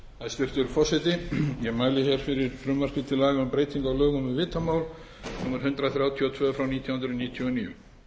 hæstvirtur forseti ég mæli hér fyrir frumvarpi til laga um breytingu á lögum um vitamál númer hundrað þrjátíu og tvö nítján hundruð níutíu og níu